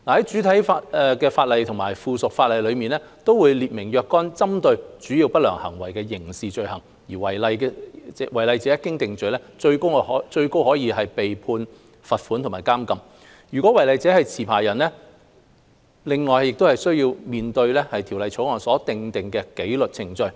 主體法例和附屬法例會列明若干針對主要不良行為的刑事罪行，違例者一經定罪，最高可處罰款和監禁。如果違例者是持牌人，另須面對《條例草案》所訂的紀律程序。